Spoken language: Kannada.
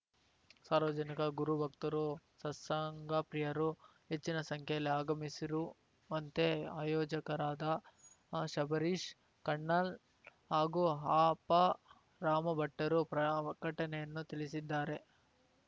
ಸಾರ್ವಜನಿಕ ಗುರುಭಕ್ತರು ಸತ್ಸಂಗ ಪ್ರಿಯರು ಹೆಚ್ಚಿನ ಸಂಖ್ಯೆಯಲ್ಲಿ ಆಗಮಿಸಿರುವಂತೆ ಆಯೋಜಕರಾದ ಶಬರೀಶ್‌ ಕಣ್ಣನ್‌ ಹಾಗೂ ಅಪರಾಮಭಟ್ಟರು ಪ್ರಕಟಣೆಯನ್ನು ತಿಳಿಸಿದ್ದಾರೆ